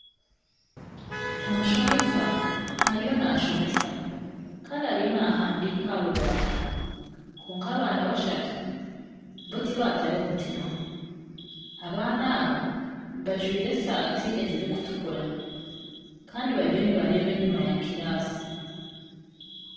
Omushomesa ariyo nashomesa Kandi ariyo nahandiika aha rubaaho kwonka abaana bashatu bo tibatayo mutima. Abaana aba bajwaire esaati ezirikutukura kandi bariyo nibareeba enyima ya kirasi.